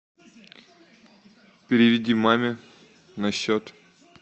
переведи маме на счет